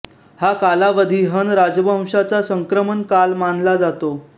हा कालावधी हन राजवंशचा संक्रमण काल मानला जातो